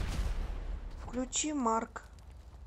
включи марк